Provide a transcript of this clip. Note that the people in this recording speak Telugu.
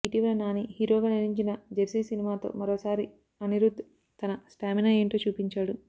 ఇటీవల నాని హీరోగా నటించిన జెర్సీ సినిమాతో మరోసారి అనిరుధ్ తన స్టామినా ఏంటో చూపించాడు